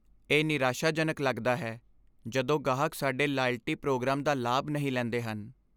ਇਹ ਨਿਰਾਸ਼ਾਜਨਕ ਲੱਗਦਾ ਹੈ ਜਦੋਂ ਗਾਹਕ ਸਾਡੇ ਲਾਇਲਟੀ ਪ੍ਰੋਗਰਾਮ ਦਾ ਲਾਭ ਨਹੀਂ ਲੈਂਦੇ ਹਨ।